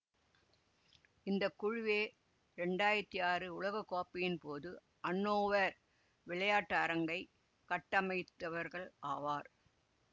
இந்த குழுவே இரண்டாயிரத்தி ஆறு உலகக்கோப்பையின் போது அன்னோவர் விளையாட்டரங்கை கட்டமைத்தவர்களாவர்